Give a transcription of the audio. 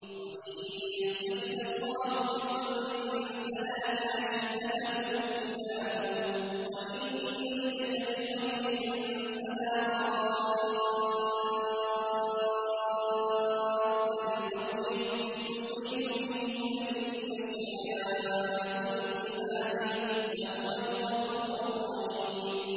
وَإِن يَمْسَسْكَ اللَّهُ بِضُرٍّ فَلَا كَاشِفَ لَهُ إِلَّا هُوَ ۖ وَإِن يُرِدْكَ بِخَيْرٍ فَلَا رَادَّ لِفَضْلِهِ ۚ يُصِيبُ بِهِ مَن يَشَاءُ مِنْ عِبَادِهِ ۚ وَهُوَ الْغَفُورُ الرَّحِيمُ